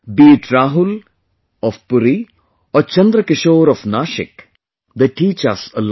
Be it Rahul of Puri or Chandrakishore of Nashik, they teach us a lot